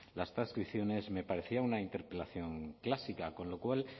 las transcripciones me parecía una interpelación clásica con lo cual